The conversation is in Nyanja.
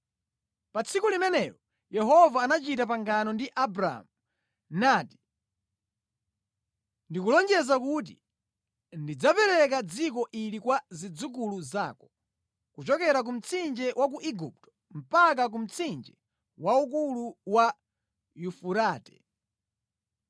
Pa tsiku limenelo, Yehova anachita pangano ndi Abramu nati, “Ndikulonjeza kuti ndidzapereka dziko ili kwa zidzukulu zako, kuchokera ku mtsinje wa ku Igupto mpaka ku mtsinje waukulu wa Yufurate.